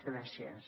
gràcies